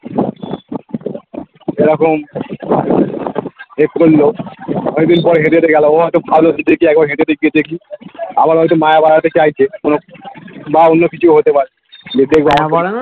এরকম অনেকদিন পর হেঁটে হেঁটে গেলো ও হতো ভাবলো যে দেখি একবার হেঁটে দেখিয়ে দেখি আবার হয়তো ময় বাড়াতে চাইছে কোনো বা অন্য কিছু হতে পারে